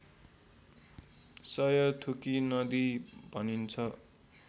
सय थुकी नदी भनिन्छ